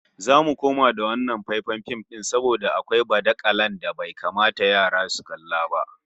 Zamu koma da wannan faifan fim din saboda akwai badala da bai kamata yara su kalla ba